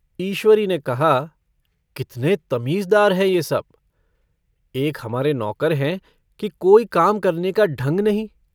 ईश्वरी ने कहा- कितने तमीज़दार हैं ये सब। एक हमारे नौकर हैं कि कोई काम करने का ढंग नहीं।